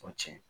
O tiɲɛ